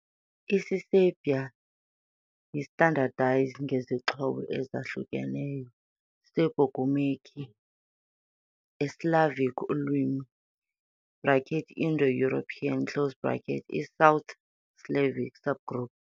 Isiserbia yi standardized ngezixhobo ezahlukeneyo Serbo-gurmukhi, a Slavic ulwimi, Indo-European, i - South Slavic subgroup.